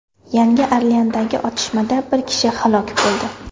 Yangi Orleandagi otishmada bir kishi halok bo‘ldi.